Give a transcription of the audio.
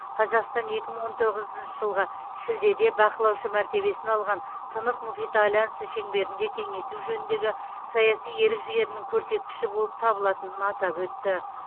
қазақстан екі мың он тоғызыншы жылғы шілдеде бақылаушы мәртебесін алған тынық мұхиты альянсы шеңберінде кеңейту жөніндегі саяси ерік жігерінің көрсеткіші болып табылатынын атап өтті